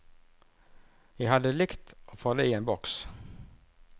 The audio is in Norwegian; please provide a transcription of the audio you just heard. Jeg hadde likt å få det i en boks.